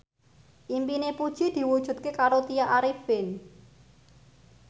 impine Puji diwujudke karo Tya Arifin